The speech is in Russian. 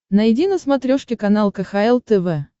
найди на смотрешке канал кхл тв